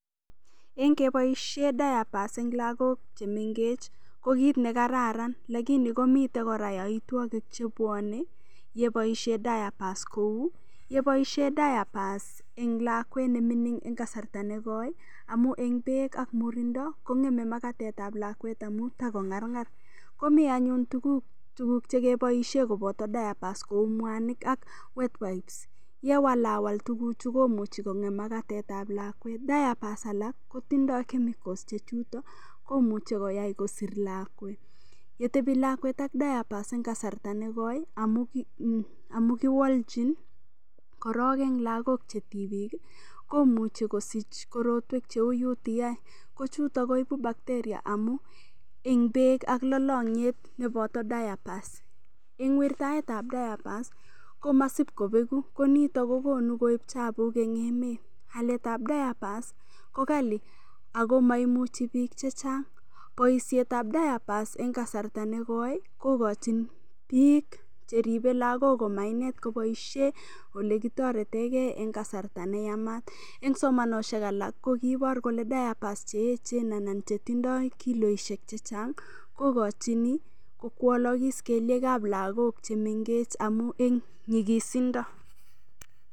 Eng' ngepoishe diapers eng' lakok chemengech ko kiit nekararan lakini komitei kora yoitwokik chebwanei yeboishe diapers kou yeboishe diapers eng' lakwet nemining' eng' kasarta negoi amu eng' beek ak murindo kong'emei makatetab lakwet amu takong'arng'ar komi anyun tuguk chekeboishe koboto diapers kou mwanik ak wet wipes yewalawal tuguchu komuchi kong'em makatetab lakwet diapers alak kotindoi chemicals chechuto komuchei koyai kosir lakwet yetebi lakwet ak diapers ek kasarta nekoi amu kiwoljin korok eng' lagok chetibik komuchi kosich korotwek cheu UTI ko chuto koibu bacteria amu eng' beek ak lolong'yet nepoto diapers eng' wirtaetab diapers komasipkobeku konito kokonu koib chapuk eng' emet aletab diapers kokali ako maimuchi biik chechang' boishetab diapers eng' kasarta negoi kokochin biik cheribei lakok komainet koboishe ole kotoretengei eng' kasarta neyamat eng' somanoshek alak kokiiboru kole diapers cheechen anan chetindoi kiloishek chechang' kokochini kokwolikis keliekab lakok chemengech amu eng' nyikisindo